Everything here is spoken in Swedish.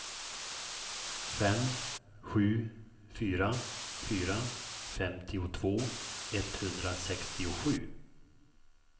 fem sju fyra fyra femtiotvå etthundrasextiosju